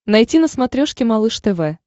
найти на смотрешке малыш тв